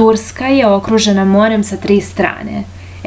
turska je okružena morem sa tri strane